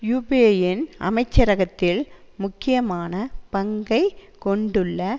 யூப்பேயின் அமைச்சரகத்தில் முக்கியமான பங்கை கொண்டுள்ள